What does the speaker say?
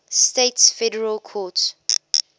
states federal courts